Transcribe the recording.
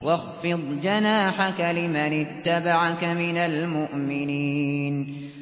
وَاخْفِضْ جَنَاحَكَ لِمَنِ اتَّبَعَكَ مِنَ الْمُؤْمِنِينَ